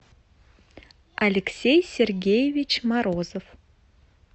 алексей сергеевич морозов